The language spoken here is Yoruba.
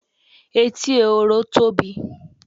Etí ehoro tóbi.